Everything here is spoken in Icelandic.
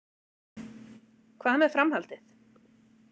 Hvað með framhaldið